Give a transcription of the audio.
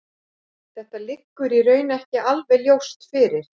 Þetta liggur í raun ekki alveg ljóst fyrir.